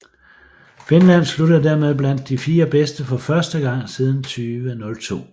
Finland sluttede dermed blandt de fire bedste for første gang siden 2002